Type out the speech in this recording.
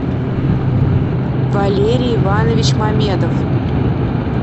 валерий иванович мамедов